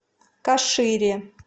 кашире